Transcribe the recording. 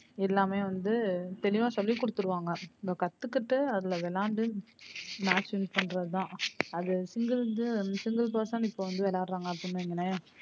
எல்லாமே வந்து தெளிவா சொல்லி கொடுத்திருவாங்க இவ கத்துக்கிட்டு அதுல விளையாண்டு match win பண்றது தான் அது single single person இப்ப வந்து விளையாடுறாங்க அப்படின்னு வையுங்களேன்